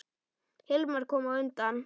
Hilmar kom á undan.